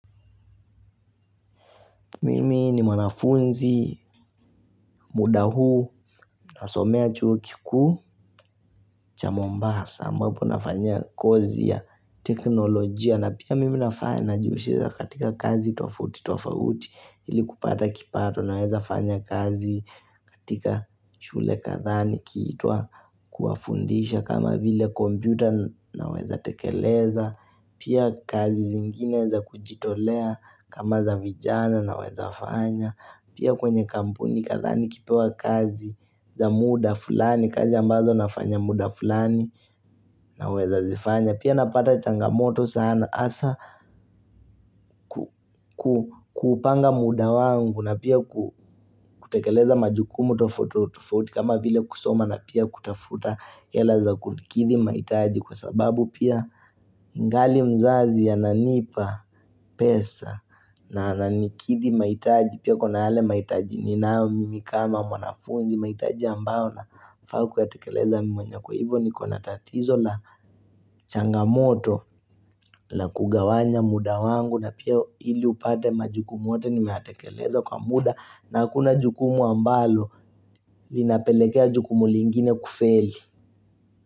Mimi ni mwanafunzi, muda huu, nasomea chuo kikuu, cha mombasa, ambapo nafanyia kozi ya teknolojia, na pia mimi nafanya, najihusisha katika kazi tofauti, tofauti, ili kupata kipato, naweza fanya kazi katika shule kadhaa, nikiitwa kuwafundisha, kama vile kompyuta, naweza tekeleza, pia kazi zingine za kujitolea, kama za vijana, naweza fanya, Pia kwenye kampuni nadhani nikipewa kazi za muda fulani kazi ambazo nafanya muda fulani naweza zifanya. Pia napata changamoto sana asa kuupanga muda wangu na pia kutekeleza majukumu tofauti tofauti kama vile kusoma na pia kutafuta hela kukidhi mahitaji kwa sababu pia ingali mzazi ananipa pesa na ananikidhi mahitaji. Pia kuna yale mahitaji ninayo, mimi kama, mwanafunzi, mahitaji ambayo nafaa ku yatekeleza mwenyewe kwa hivyo niko na tatizo la changamoto la kugawanya muda wangu na pia ili upate majukumu yote nimeyatekeleza kwa muda na hakuna jukumu ambalo linapelekea jukumu lingine kufeli.